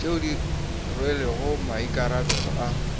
tšeo di rwelego maikarabelo a